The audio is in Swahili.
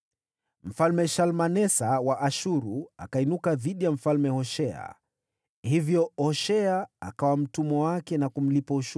Mfalme Shalmanesa wa Ashuru akainuka dhidi ya Mfalme Hoshea, ambaye hapo mbeleni alikuwa mtumwa wake na kumlipa ushuru.